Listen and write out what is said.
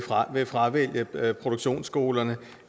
mange vil fravælge produktionsskolerne